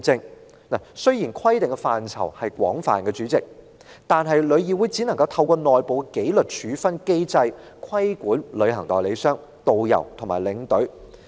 代理主席，雖然規定的範疇廣泛，但旅議會只能透過內部紀律處分機制規管旅行代理商、導遊和領隊。